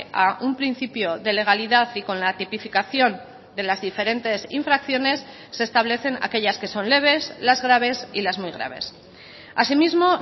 a un principio de legalidad y con la tipificación de las diferentes infracciones se establecen aquellas que son leves las graves y las muy graves asimismo